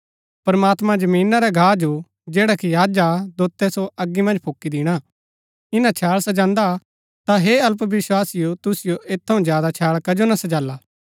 प्रमात्मां जमीना रै घा जो जैडा कि अज हा अतै दोतै सो अगी मन्ज फूकी दिणा ईना छैळ सजान्दा ता हे अल्पविस्वासिओ तुसिओ ऐत थऊँ ज्यादा छैळ कजो ना सजाला